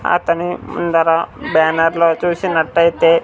అతను ముందర బ్యానర్ లో చూసినట్టయితే.